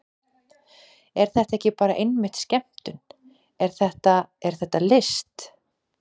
Er þetta ekki bara einmitt skemmtun, er þetta, er þetta list?